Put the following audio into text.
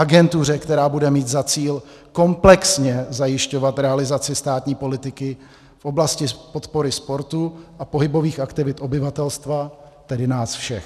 Agentuře, která bude mít za cíl komplexně zajišťovat realizaci státní politiky v oblasti podpory sportu a pohybových aktivit obyvatelstva, tedy nás všech.